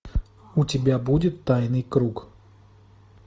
у тебя будет тайный круг